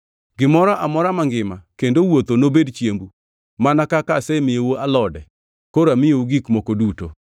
Gimoro amora mangima kendo wuotho nobed chiembu. Mana kaka asemiyou alode, koro amiyou gik moko duto.”